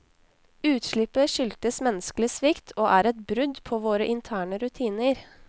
Utslippet skyldtes menneskelig svikt og er et brudd på våre interne rutiner.